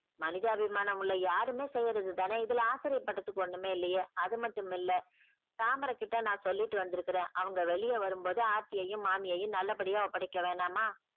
மனிதாபிமானம் உள்ள யாருமே செய்யறது தானே இதுல ஆச்சரியம் படுறதுக்கு ஒண்ணுமே இல்லையே அது மட்டுமில்ல தாமரை கிட்ட நான் சொல்லிட்டு வந்திருக்கிறேன் அவங்க வெளிய வரும்போது ஆர்த்தியையும் மாமியையும் நல்லபடியா ஒப்படைக்க வேணாமா?